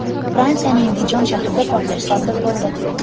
Fransiyaning Dijon shahrida portlash sodir bo‘ldi.